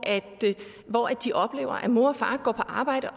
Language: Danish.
de oplever at mor og far går på arbejde og